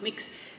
Miks?